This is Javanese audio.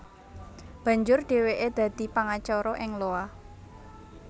Banjur dhèwèké dadi pangacara ing Iowa